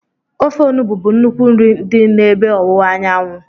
Ofe onugbu bụ nnukwu nri dị n'ebe ọwụwa anyanwụ.